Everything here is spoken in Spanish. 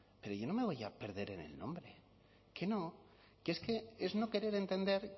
pero yo no me voy a perder en el nombre que no que es que es no querer entender